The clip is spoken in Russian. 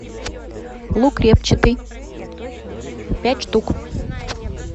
лук репчатый пять штук